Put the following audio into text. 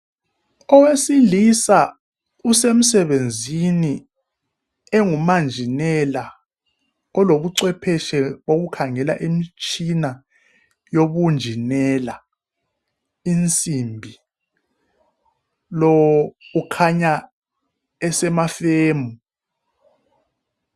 Owesilisa usemsebenzini engumanjinela kulobucwephetshe wokukhangela imitshina yobunjinela insimbi lo ukhanya esemafemu